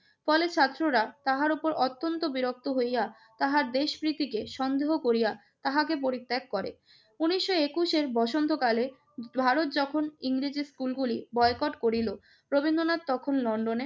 College ছাত্ররা তাহার উপর অত্যন্ত বিরক্ত হইয়া তাহার দেশ প্রীতিকে সন্দেহ করিয়া তাহাকে পরিত্যাগ করে। উনিশশো একুশ এর বসন্তকালে ভারত যখন ইংরেজি স্কুলগুলি বয়কট করিল রবীন্দ্রনাথ তখন লন্ডনে